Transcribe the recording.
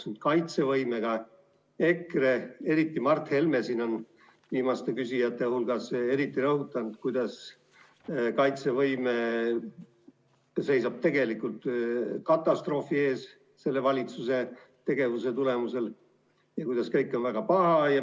Seoses kaitsevõimega on EKRE, eriti Mart Helme viimaste küsijate hulgas, rõhutanud, et kaitsevõime seisab selle valitsuse tegevuse tulemusel tegelikult katastroofi ees ja kõik on väga pahasti.